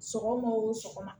Sɔgɔma o sɔgɔma